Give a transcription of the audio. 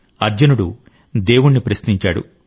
అర్జునుడు దేవుణ్ణి ప్రశ్నించాడు